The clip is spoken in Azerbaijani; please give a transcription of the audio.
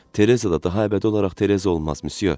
Tereza da daha əbədi olaraq Tereza olmaz, müsyo.